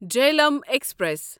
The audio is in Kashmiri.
جہلیم ایکسپریس